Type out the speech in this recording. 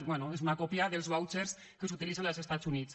bé és una còpia dels vouchers que s’utilitzen als estats units